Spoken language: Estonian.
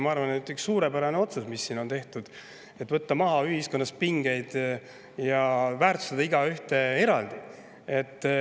Ma arvan, et see on üks suurepärane otsus, mis siin tehti, et võtta ühiskonnas pingeid maha ja väärtustada igaühte eraldi.